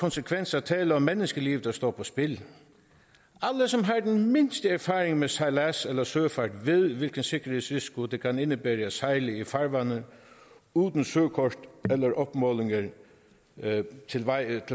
konsekvens er tale om menneskeliv der står på spil alle som har den mindste erfaring med sejlads eller søfart ved hvilken sikkerhedsrisiko det kan indebære at sejle i farvande uden at søkort eller opmålinger er tilvejebragt